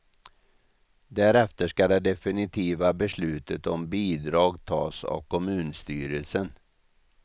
Därefter ska det definitiva beslutet om bidrag tas av kommunstyrelsen.